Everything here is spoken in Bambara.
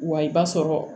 Wa i b'a sɔrɔ